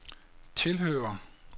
tilhører